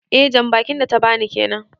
Eh jan bakin da ta ba ni kenan.